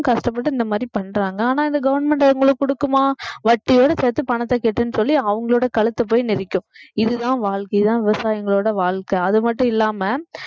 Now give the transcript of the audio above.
அவங்க கஷ்டப்பட்டு இந்த மாதிரி பண்றாங்க ஆனா இந்த government அவங்களுக்கு குடுக்குமா வட்டியோட சேர்த்து பணத்தை கட்டுன்னு சொல்லி அவங்களோட கழுத்தை போய் மிதிக்கும் இதுதான் வாழ்க்கை இதுதான் விவசாயிங்களோட வாழ்க்கை அது மட்டும் இல்லாம